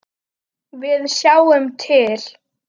Við sjáum til.